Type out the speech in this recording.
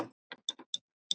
Gígar og hraun